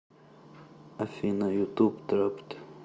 афина ютуб трапт